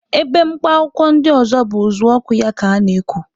Ebe mkpa akwụkwọ ndị ọzọ bụ uzuọkụ ya ka ana-eku.